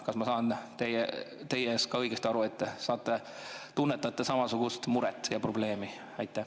Kas ma saan teist õigesti aru, et te tunnetate samasugust muret ja probleemi?